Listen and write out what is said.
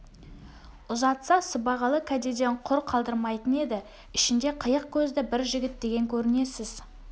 ұзатса сыбағалы кәдеден құр қалдырмайтын еді ішінде қиық көзді бір жігіт деген көрінесіз